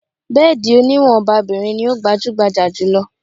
Bẹ́ẹ̀dì oníwọ̀n ọba-bìrin ní o gbajúgbajà jù lọ.